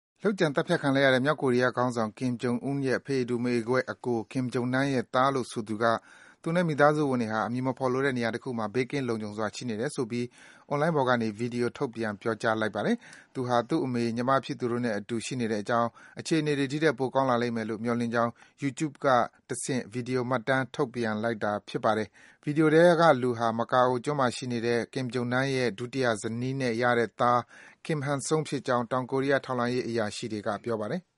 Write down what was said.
လုပ်ကြံသတ်ဖြတ်ခံလိုက်ရတဲ့ မြောက်ကိုရီးယားခေါင်းဆောင် Kim Jong Un ရဲ့ ဖအေတူ မအေကွဲ အကို Kim Jong Nam ရဲ့ သားလို့ ဆိုသူက သူနဲ့ သူ့မိသားစုဝင်တွေဟာ အမည်မဖော်လိုတဲ့ နေရာတခုမှာ ဘေးကင်းလုံခြုံစွာ ရှိနေကြတယ်ဆိုပြီး အွန်းလိုင်းပေါ်ကနေ ဗွီဒီယို ထုတ်ပြန် ပြောကြားလိုက်ပါတယ်။ သူဟာ သူ့အမေ၊ ညီမဖြစ်သူတို့နဲ့အတူ ရှိနေတဲ့အကြောင်း၊ အခြေအနေတွေ ဒီထက် ပိုကောင်းလာလိမ့်မယ်လို့ မျှော်လင့်ကြောင်း Youtube ကတဆင့် ဗွီဒီယို မှတ်တမ်း ထုတ်ပြန်လိုက်တာပါ။ ဗွီဒီယိုထဲကလူဟာ မကာအိုကျွန်းမှာနေတဲ့ Kim Jong Nam ရဲ့ ဒုတိယဇနီးနဲ့ ရတဲ့သား Kim Han Sol ဖြစ်ကြောင်း တောင်ကိုရီးယား ထောက်လှမ်းရေး အရာရှိတွေက ပြောပါတယ်။